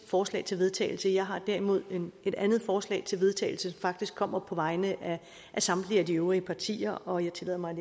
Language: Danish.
forslag til vedtagelse jeg har derimod et andet forslag til vedtagelse som faktisk kommer på vegne af samtlige øvrige partier og jeg tillader mig at